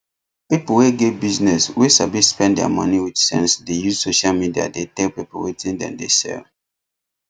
pipu wey get business wey sabi spend dia money wit sense dey use social media dey tell people wetin dem dey sell